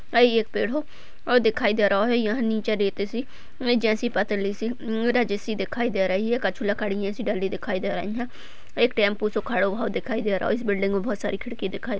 यह एक पेड़ है और दिखाई दे रहा है यहाँ नीचे रेत सी जैसी पतली सी रज सी दिखाई दे रही है कुछ लकड़ियाँ सी डली दिखाई दे रही है एक टेम्पो सा खड़ा हुआ दिखाई दे रही है इस बिल्डिंग में बहुत सारी खिड़की दिखाई --